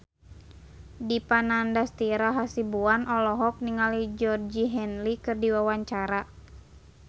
Dipa Nandastyra Hasibuan olohok ningali Georgie Henley keur diwawancara